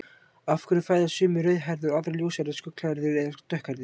Af hverju fæðast sumir rauðhærðir og aðrir ljóshærðir, skolhærðir eða dökkhærðir?